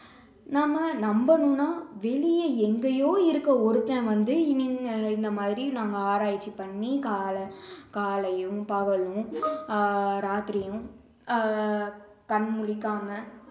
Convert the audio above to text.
நம்ம நம்பணும்னா வெளிய எங்கயோ இருக்க ஒருத்தன் வந்து இந்த மாதிரி நாங்க ஆராய்ச்சி பண்ணி காலை~ காலையும் பகலும் ஆஹ் ராத்திரியும் ஆஹ் கண் முழிக்காம